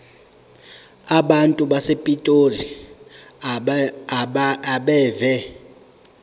abantu basepitoli abeve